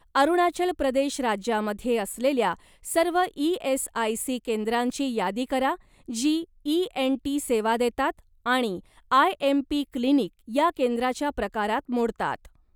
अरुणाचल प्रदेश राज्यामध्ये असलेल्या सर्व ई.एस.आय.सी. केंद्रांची यादी करा जी इएनटी सेवा देतात आणि आयएमपी क्लिनिक या केंद्राच्या प्रकारात मोडतात.